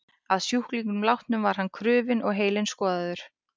Að sjúklingnum látnum var hann krufinn og heilinn skoðaður.